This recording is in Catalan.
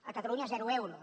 a catalunya zero euros